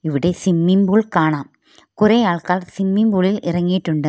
ഇവിടെ swimming pool കാണാം കുറെ ആൾക്കാർ സ്വിമ്മിങ് പൂളിൽ ഇറങ്ങിയിട്ടുണ്ട്.